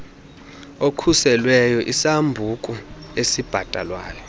okhuselweyo isambuku esibhatalwayo